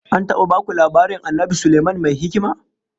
An taba baku labarin Annabi Sulaiman Mai Hikima?